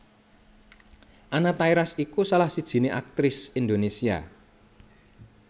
Anna Tairas iku salah sijiné aktris Indonesia